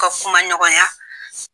ka kuma ɲɔgɔnya.